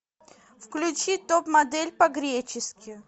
включи топ модель по гречески